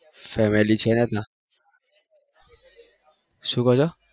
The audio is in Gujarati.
શું કો છો?